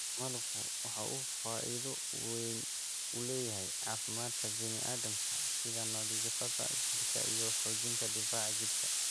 Malabku waxa uu faa�iido weyn u leeyahay caafimaadka bini�aadamka sida nadiifinta jidhka iyo xoojinta difaaca jidhka.